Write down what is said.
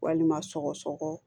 Walima sɔgɔsɔgɔ